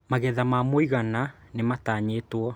Magetha ma mũigana nĩmatanyĩtwo